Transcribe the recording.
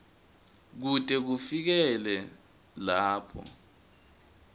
kute kufikele lapho